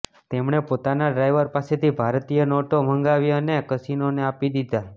તેમણે પોતાના ડ્રાઈવર પાસેથી ભારતીય નોટો મંગાવી અને કસીનોને આપી દીધી